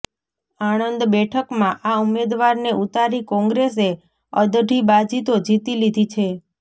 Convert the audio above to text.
આણંદ બેઠકમાં આ ઉમેદવારને ઉતારી કોંગ્રેસે અડધી બાજી તો જીતી લીધી છે